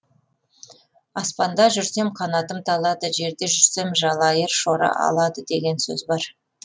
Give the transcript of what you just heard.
аспанда жүрсем қанатым талады жерде жүрсем жалайыр шора алады деген сөз бар